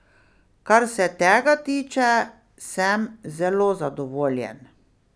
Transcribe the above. Kar se tega tiče, sem zelo zadovoljen.